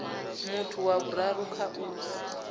muthu wa vhuraru kha u